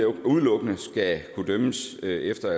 udelukkende skal kunne dømmes efter